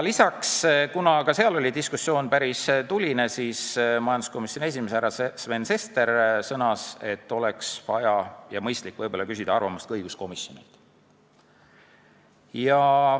Lisaks, kuna diskussioon oli päris tuline, sõnas majanduskomisjoni esimees härra Sven Sester, et võib-olla oleks mõistlik küsida arvamust ka õiguskomisjonilt.